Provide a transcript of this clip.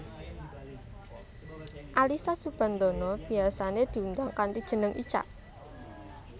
Alyssa Soebandono biyasané diundang kanthi jeneng Icha